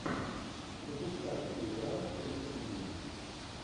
запускай где играл ричард гир